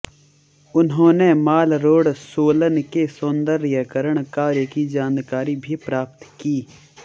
उन्होंने मालरोड सोलन के सौंदर्यीकरण कार्य की जानकारी भी प्राप्त की